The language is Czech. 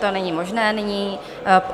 To není možné nyní.